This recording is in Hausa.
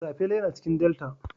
Sapele yana cikin delta.